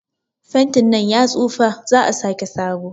Fentin nan ya tsufa, za'a sake sabo.